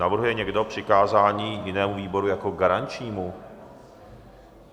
Navrhuje někdo přikázání jinému výboru jako garančnímu?